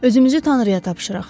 Özümüzü tanrıya tapşıraq.